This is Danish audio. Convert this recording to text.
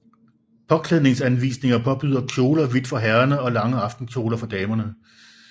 Påklædningsanvisninger påbyder kjole og hvidt for herrerne og lange aftenkjoler for damerne